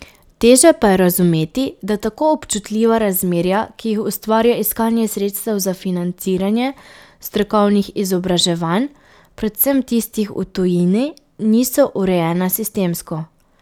Teže pa je razumeti, da tako občutljiva razmerja, ki jih ustvarja iskanje sredstev za financiranje strokovnih izobraževanj, predvsem tistih v tujini, niso urejena sistemsko.